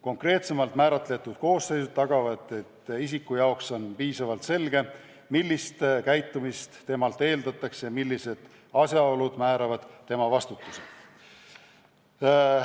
Konkreetsemalt määratletud koosseisud tagavad, et isiku jaoks on piisavalt selge, millist käitumist temalt eeldatakse, millised asjaolud määravad tema vastutuse.